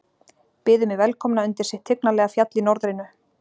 Byðu mig velkomna undir sitt tignarlega fjall í norðrinu.